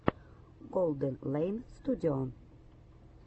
голденлэйн студио